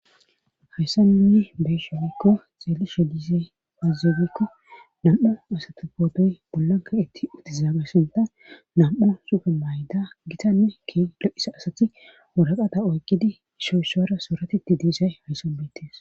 Hayssan nuuni be'ishe woykko xeelishe dizay aaze giikko nam'u asata pootoy bolla kaqeti uttidaaga sinththan nam'u sufe maiyiza gitanne keehippe diza asati waraqata oyqqidi issoy issuwara sarotishe dizay hayssan betees.